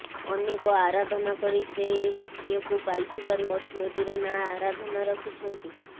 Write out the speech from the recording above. ଅନେକ ଆରାଧନା କରି ସେ ଏହି ଝିଅକୁ ପାଇ ଥିବାରୁ ଝିଅଟିର ନା ଆରାଧନା ରଖିଛନ୍ତି